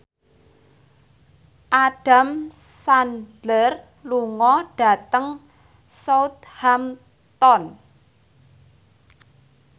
Adam Sandler lunga dhateng Southampton